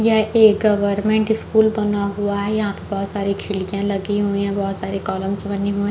यह एक government school बना हुआ है यहाँ पे बहुत सारी खिड़कियाँ लगी हुई है बहुत सारे कॉलम्‍स बने हुए --